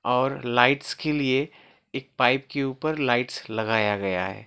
और लाइट्स के लिए एक पाइप के ऊपर लाइट्स लगाया गया है।